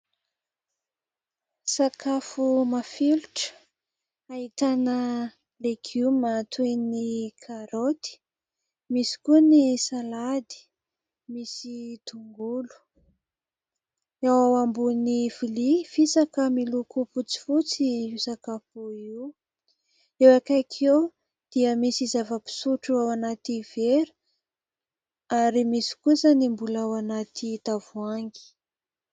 Sakafo mafilotra ahitana legioma toy ny karaoty misy koa ny salady misy tongolo ao ambonin'ny vilia fisaka miloko fotsifotsy io sakafo io eo akaiky eo dia misy zava-pisotro ao anaty vera ary misy kosa ny mbola ao anaty tavoangy.